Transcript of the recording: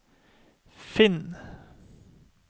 finn